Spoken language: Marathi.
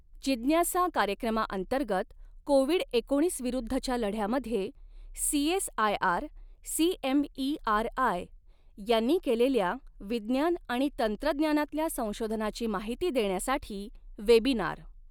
जिज्ञासा कार्यक्रमाअंतर्गत कोविड एकोणीस विरुद्धच्या लढ्यामध्ये सीएसआयआर सीएमईआरआय यांनी केलेल्या विज्ञान आणि तंत्रज्ञानातल्या संशोधनाची माहिती देण्यासाठी वेबिनार